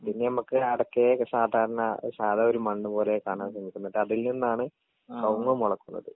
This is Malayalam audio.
പിന്നെ നമുക്ക് അടക്കയെ സാധരണ സാധാ ഒരു മണ്ണ് പോലെ കാണാൻ സാധിക്കുന്നത് അതിൽ നിന്നാണ് കവുങ്ങ് മൊളക്കുന്നത്.